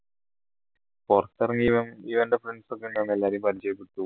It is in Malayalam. പുറത്തിറങ്ങിയപ്പോ ഇവൻറെ friends ഒക്കെ ഉണ്ടായിരുന്നു അപ്പൊ എല്ലാരും പരിചയപ്പെട്ടു